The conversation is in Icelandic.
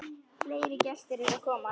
Fleiri gestir eru að koma.